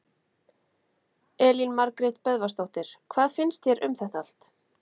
Elín Margrét Böðvarsdóttir: Hvað finnst þér um þetta allt?